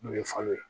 N'o ye falo ye